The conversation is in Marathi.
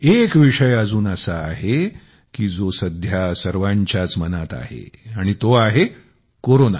एक विषय अजून असा आहे की जो सध्या सर्वांच्याच मनात आहे आणि तो आहे कोरोना